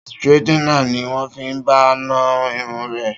Straightener ni wọ́n fi bá a na irun rẹ̀